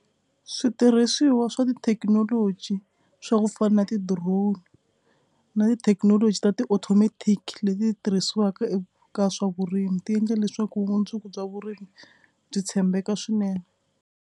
Switirhisiwa swa tithekinoloji swa ku fana na ti-drone na tithekinoloji ta ti automatic leti tirhisiwaka eka swa vurimi ti endle leswaku vumundzuku bya vurimi byi tshembeka swinene.